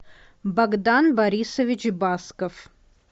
богдан борисович басков